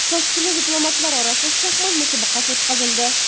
Toshkentda diplomatlar orasida shaxmat musobaqasi o‘tkazildi.